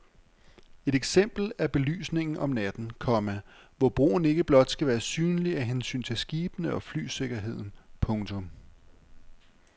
Et eksempel er belysningen om natten, komma hvor broen ikke blot skal være synlig af hensyn til skibene og flysikkerheden. punktum